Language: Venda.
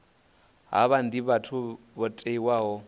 havha ndi vhathu vho tiwaho